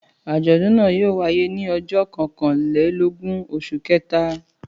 Àjọ̀dún náà yóò wáyé ní ọjọ́ kọkànlélógún oṣù kẹta.